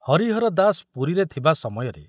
ହରିହର ଦାସ ପୁରୀରେ ଥିବା ସମୟରେ